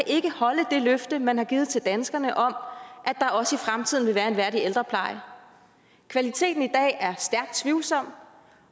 ikke kan holde det løfte man har givet til danskerne om at der også i fremtiden vil være en værdig ældrepleje kvaliteten i dag er stærkt tvivlsom